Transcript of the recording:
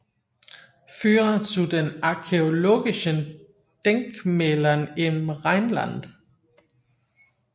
Führer zu den archäologischen Denkmälern im Rheinland